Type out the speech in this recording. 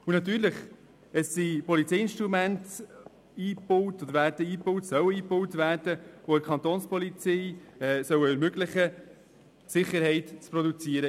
Natürlich: Es sollen Polizeiinstrumente eingebaut werden beziehungsweise es wurden Polizeiinstrumente eingebaut, die es der Kantonspolizei (Kapo) ermöglichen sollen, in diesem Kanton Sicherheit zu produzieren.